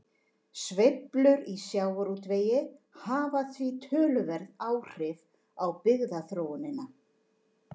Sveiflur í sjávarútvegi hafa því töluverð áhrif á byggðaþróunina.